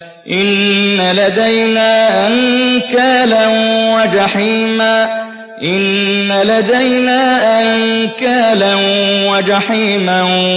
إِنَّ لَدَيْنَا أَنكَالًا وَجَحِيمًا